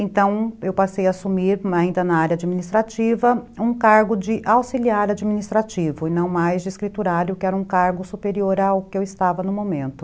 Então, eu passei a assumir, ainda na área administrativa, um cargo de auxiliar administrativo, e não mais de escriturário, que era um cargo superior ao que eu estava no momento.